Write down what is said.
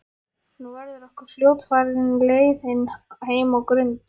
Nú verður okkur fljótfarin leiðin heim á Grund.